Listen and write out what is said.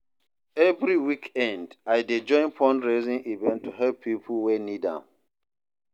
Every weekend, I dey join fundraising events to help people wey need am.